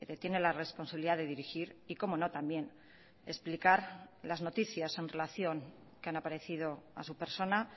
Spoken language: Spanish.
tiene la responsabilidad de dirigir y como no también explicar las noticias en relación que han aparecido a su persona